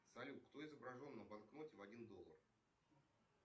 салют кто изображен на банкноте в один доллар